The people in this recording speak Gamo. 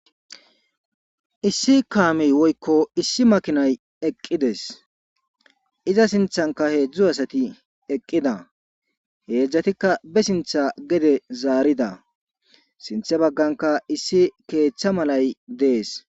issi kaamiy woykko issi makinay eqqides iza sinthanka heedzdzu asati eqqida heedzdzatikka be sintha gede zaarida sinthe bagganka issi keeththa malay dees